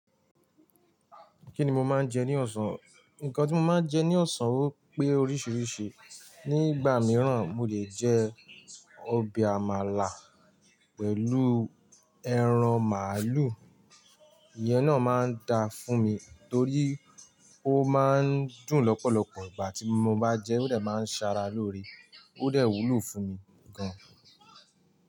Kíni mo máa ń jẹ ní ọ̀sán? Nkan tí mo máa ń jẹ ní ọ̀sán ó pé oríṣiríṣi. Ni ìgbà mìíràn, mo lè jẹ ọbẹ̀ amàlà pẹ̀lú ẹran màálù. Ìyẹn náà máa ń da fún mi torí ó máa ń dùn lọ́pọ̀lọpọ̀. Ìgbà tí mo bá jẹ ẹ́, ó de máa ń ṣara lóore. Ó dè wúlò fún mi gan-an.